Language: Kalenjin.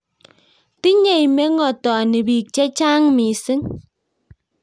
Tinyei mengotoni bik chechang missing